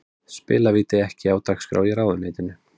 Spilavíti ekki á dagskrá í ráðuneytinu